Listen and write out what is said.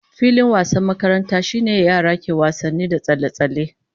Filin wasan makaranta shine yara ke wasanni da tsalle-tsalle